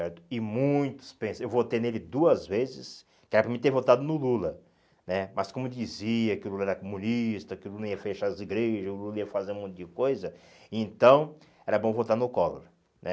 certo E muitos pensam, eu votei nele duas vezes, que era para me ter votado no Lula né, mas como dizia que o Lula era comunista, que o Lula ia fechar as igrejas, o Lula ia fazer um monte de coisa, então era bom votar no Collor, né?